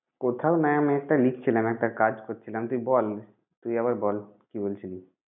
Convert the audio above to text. কোথাও না। আমি একটা লিখছিলাম একটা কাজ করছিলাম। তুই বল, তুই এবার বল কি বলছিলি?